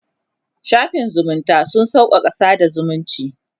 shafin zumunta sun sauƙaƙa sada zumunci